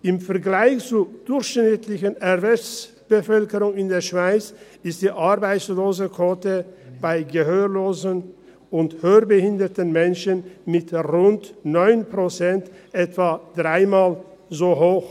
Im Vergleich zur durchschnittlichen Erwerbsbevölkerung in der Schweiz, ist die Arbeitslosenquote bei Gehörlosen und hörbehinderten Menschen mit rund 9 Prozent etwa dreimal so hoch.